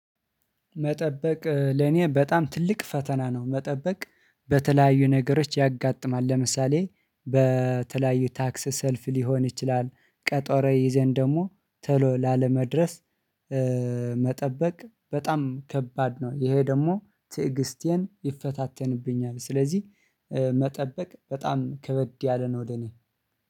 መጠበቅ ለኔ በጣም ትልቅ ፈተና ነው መጠበቅ በተለያዩ ነገሮች ያጋጥማል። ለምሳሌ በተለያዩ ታክስ ሰልፍ ሊሆን ይችላል ቀጠሮ ይዘን ደግሞ ቶሎ ላለመድረስ። መጠበቅ በጣም ከባድ ነው። ይሄ ደግሞ ትዕግስቴን ይፈታተንብኛል። ስለዚህ መጠበቅ በጣም ከበድ ያለ ነው ለ እኔ